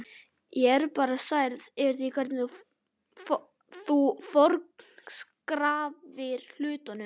Ég er bara særð yfir því hvernig þú forgangsraðar hlutunum.